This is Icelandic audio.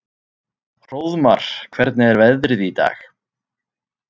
Hróðmar, hvernig er veðrið í dag?